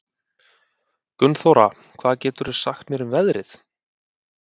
Gunnþóra, hvað geturðu sagt mér um veðrið?